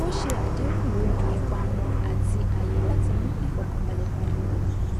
a ṣe àdéhùn lórí ìpamọ àti àyè láti mú ìfòkànbalẹ padà wá